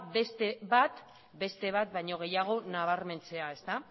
beste bat baino gehiago nabarmentzea